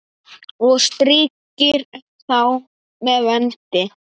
og strýkir þá með vendi.